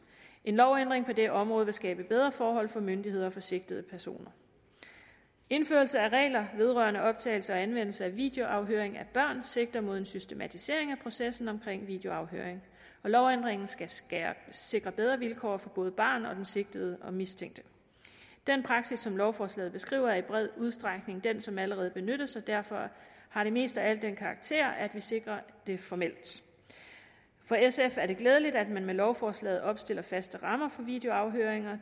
en lovændring på det område vil skabe bedre forhold for myndigheder og sigtede personer indførelse af regler vedrørende optagelse og anvendelse af videoafhøring af børn sigter mod en systematisering af processen omkring videoafhøring og lovændringen skal skal sikre bedre vilkår for både barnet og den sigtede og mistænkte den praksis som lovforslaget beskriver er i bred udstrækning den som allerede benyttes og derfor har det mest af alt den karakter at vi sikrer det formelt for sf er det glædeligt at man med lovforslaget opstiller faste rammer for videoafhøring